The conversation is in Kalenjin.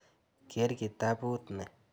Ker kitaput ni.